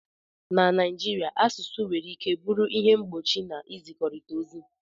na Naijiria, asụsụ nwere ike bụrụ ihe mgbochi na nzikọrịta ozi